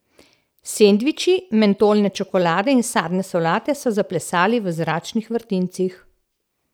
Sendviči, mentolne čokoladke in sadne solate so zaplesali v zračnih vrtincih.